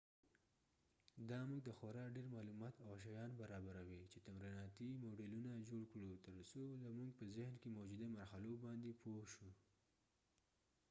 دا مونږ ته خورا ډیر معلومات او شیان برابروي چې تمریناتی موډیلونه جوړ کړو تر څو زمونږ په ذهن کې موجوده مرحلو باندی پوه شو